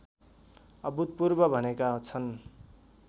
अभूतपूर्व भनेका छन्